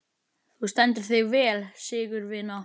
Þú stendur þig vel, Sigurvina!